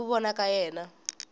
hi ku vona ka yena